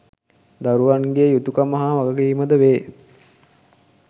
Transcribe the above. දරුවන් ගේ යුතුකම හා වගකීමද වේ.